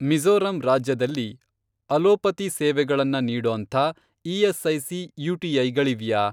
ಮಿಜೋ಼ರಂ ರಾಜ್ಯದಲ್ಲಿ ಅಲೋಪತಿ ಸೇವೆಗಳನ್ನ ನೀಡೋಂಥ ಇ.ಎಸ್.ಐ.ಸಿ. ಯು.ಟಿ.ಐ. ಗಳಿವ್ಯಾ?